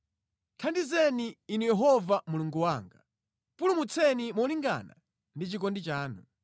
Thandizeni Inu Yehova Mulungu wanga; pulumutseni molingana ndi chikondi chanu.